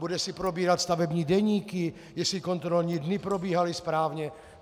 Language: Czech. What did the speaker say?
Bude si probírat stavební deníky, jestli kontrolní dny probíhaly správně?